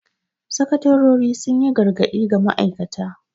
Sakatarori sun yi gargadi ga ma'aikata.